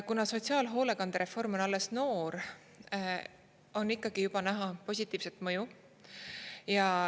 Kuna sotsiaalhoolekandereform on alles noor, on ikkagi juba näha positiivset mõju.